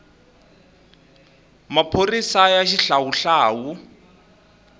maphorisaya xihlawuhlawu